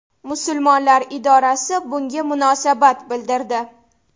Musulmonlar idorasi bunga munosabat bildirdi.